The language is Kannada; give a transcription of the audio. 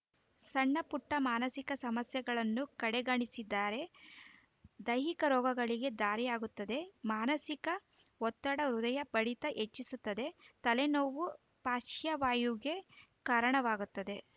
ಸಣ್ಣಪುಟ್ಟಮಾನಸಿಕ ಸಮಸ್ಯೆಗಳನ್ನು ಕಡೆಗಣಿಸಿದರೆ ದೈಹಿಕ ರೋಗಗಳಿಗೆ ದಾರಿಯಾಗುತ್ತದೆ ಮಾನಸಿಕ ಒತ್ತಡ ಹೃದಯ ಬಡಿತ ಹೆಚ್ಚಿಸುತ್ತೆ ತಲೆನೋವು ಪಾಶ್ರ್ವವಾಯುವಿಗೂ ಕಾರಣವಾಗುತ್ತೆ